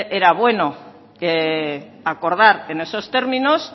era bueno acordar en esos términos